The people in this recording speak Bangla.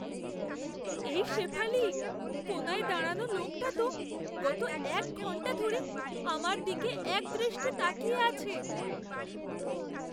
এই শেফালি, কোণায় দাঁড়ানো লোকটা তো গত এক ঘন্টা ধরে আমার দিকে একদৃষ্টে তাকিয়ে আছে।